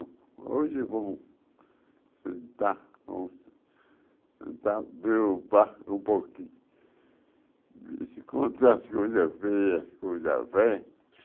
Hoje eu vou sentar, vou sentar, ver o um pouquinho, as coisas feias, coisas velhas.